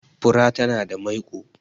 fura tana da maiko